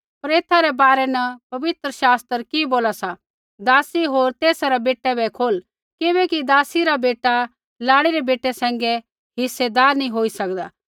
पर एथा रै बारै न पवित्र शास्त्र कि बोला सा दासी होर तेसा रै बेटै बै खोल किबैकि दासी रा बेटा लाड़ी रै बेटै सैंघै हिस्सेदार नैंई होई सकदा